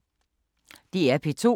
DR P2